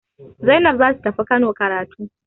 Zainab za ta tafi Kano karatu.